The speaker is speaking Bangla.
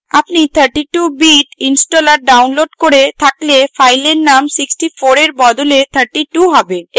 আপনি 32 bit installer ডাউনলোড করে থাকলে file name 64 এর বদলে 32 have